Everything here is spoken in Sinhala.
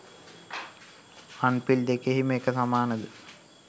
අං පිල් දෙකෙහිම එක සමානද